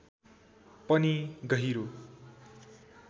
पनि गहिरो